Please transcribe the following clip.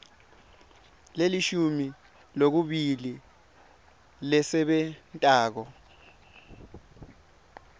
lelishumi nakubili lesebentako